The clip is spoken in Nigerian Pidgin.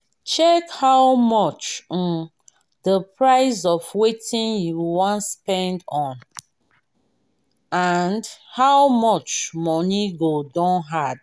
check how much um di price of wetin you wan spend on and how much money go don add